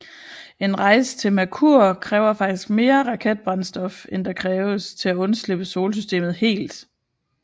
En rejse til Merkur kræver faktisk mere raketbrændstof end der kræves til at undslippe solsystemet helt